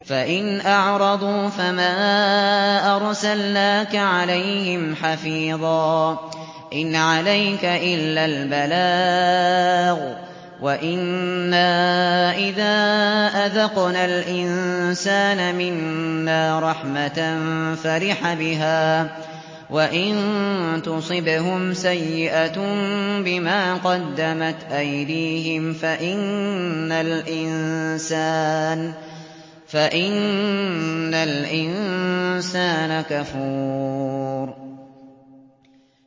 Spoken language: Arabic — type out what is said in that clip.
فَإِنْ أَعْرَضُوا فَمَا أَرْسَلْنَاكَ عَلَيْهِمْ حَفِيظًا ۖ إِنْ عَلَيْكَ إِلَّا الْبَلَاغُ ۗ وَإِنَّا إِذَا أَذَقْنَا الْإِنسَانَ مِنَّا رَحْمَةً فَرِحَ بِهَا ۖ وَإِن تُصِبْهُمْ سَيِّئَةٌ بِمَا قَدَّمَتْ أَيْدِيهِمْ فَإِنَّ الْإِنسَانَ كَفُورٌ